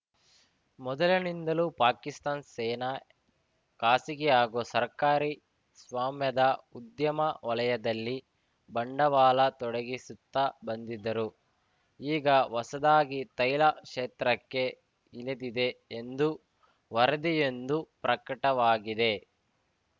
ಮೊದಲಿನಿಂದಲೂ ಪಾಕಿಸ್ತಾನ್ ಸೇನಾ ಖಾಸಗಿ ಹಾಗೂ ಸರ್ಕಾರಿ ಸ್ವಾಮ್ಯದ ಉದ್ಯಮ ವಲಯದಲ್ಲಿ ಬಂಡವಾಳ ತೊಡಗಿಸುತ್ತಾ ಬಂದಿದರು ಈಗ ಹೊಸದಾಗಿ ತೈಲ ಕ್ಷೇತ್ರಕ್ಕೆ ಇಳಿದಿದೆ ಎಂದು ವರದಿಯೊಂದು ಪ್ರಕಟವಾಗಿದೆ